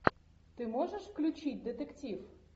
ты можешь включить детектив